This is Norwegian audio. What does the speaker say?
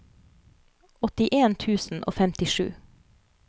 åttien tusen og femtisju